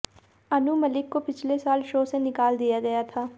अनु मलिक को पिछले साल शो से निकाल दिया गया था